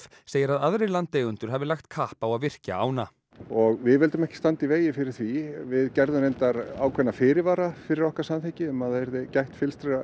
segir að aðrir landeigendur hafi lagt kapp á að virkja ána og við vildum ekki standa í vegi fyrir því við gerðum reyndar ákveðna fyrirvara fyrir okkar samþykki um að það yrði gætt